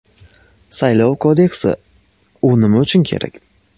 Saylov kodeksi: u nima uchun kerak?.